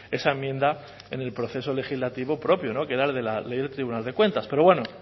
esa enmienda en el proceso legislativo propio que era el de la ley del tribunal de cuentas pero bueno